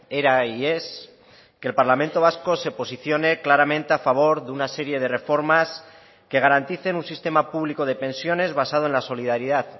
era y es que el parlamento vasco se posicione claramente a favor de una serie de reformas que garanticen un sistema público de pensiones basado en la solidaridad